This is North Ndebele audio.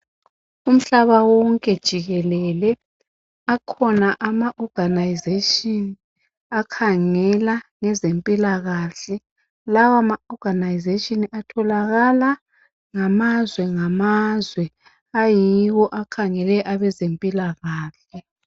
Umhlaba wonke jikelele zikhona inhlanganiso ezikhangela ngezempilakahle. Lezinhlanganiso atholakala emazweni wonke ayiwo akhangela ngezempilakahle.